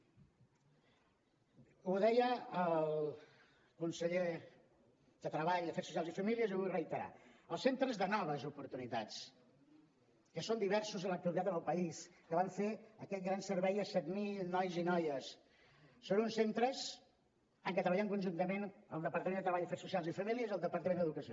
ho deia el conseller de treball afers socials i famílies i ho vull reiterar els centres de noves oportunitats que són diversos en l’actualitat en el país que van fer aquell gran servei a set mil nois i noies són uns centres amb què treballem conjuntament el departament de treball afers socials i famílies i el departament d’educació